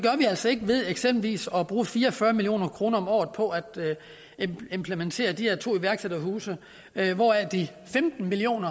altså ikke ved eksempelvis at bruge fire og fyrre million kroner om året på at implementere de her to iværksætterhuse hvoraf de femten million